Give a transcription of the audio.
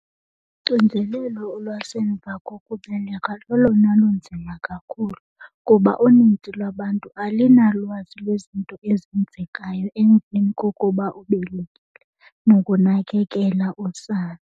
Uxinzelelo lwasemva kokubeleka lolona lunzima kakhulu kuba unintsi lwabantu alinalwazi lwezinto ezenzekayo emveni kokuba ubelekile, nokunakekela usana.